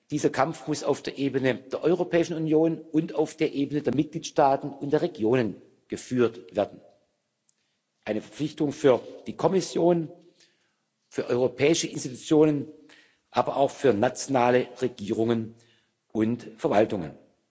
Dieser Kampf muss auf der Ebene der Europäischen Union und auf der Ebene der Mitgliedstaaten und der Regionen geführt werden eine Verpflichtung für die Kommission, für die europäischen Institutionen, aber auch für nationale Regierungen und Verwaltungen.